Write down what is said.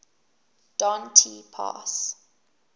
don t pass